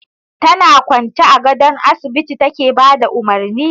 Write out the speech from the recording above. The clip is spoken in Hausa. Tana kwance a gadon asibiti take ba da umurni.